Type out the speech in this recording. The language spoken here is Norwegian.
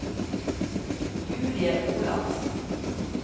Julie Olafsen